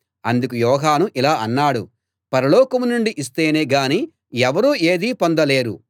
అందుకు యోహాను ఇలా అన్నాడు పరలోకం నుండి ఇస్తేనే గానీ ఎవరూ ఏదీ పొందలేరు